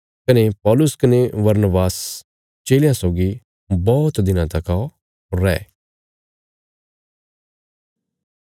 कने पौलुस कने बरनबास चेलयां सौगी बौहत दिनां तका रै